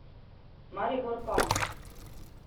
Maribor pa ...